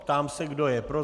Ptám se, kdo je pro.